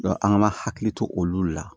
an k'an hakili to olu la